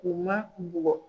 Ku man bugɔ.